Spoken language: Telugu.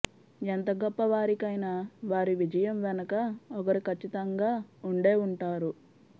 ఎంత గొప్పవారికైనా వారి విజయం వెనక ఒకరు కచ్చితంగా ఉండే ఉంటారు